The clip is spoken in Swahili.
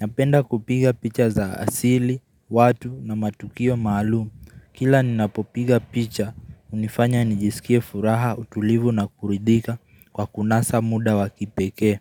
Napenda kupiga picha za asili, watu na matukio maalumu. Kila ninapopiga picha, unifanya nijisikie furaha, utulivu na kuridhika kwa kunasa muda wakipekee.